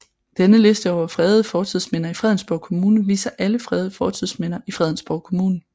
Denne liste over fredede fortidsminder i Fredensborg Kommune viser alle fredede fortidsminder i Fredensborg Kommune